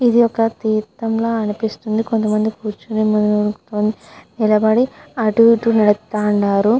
ఇది ఒక తిర్తం ల అనిపిస్తుంది. కొంత మంది కుర్య్చునారు కొంత మంది నిలుచునారు. కొంత మంది అటు ఇటు చుస్తునారు.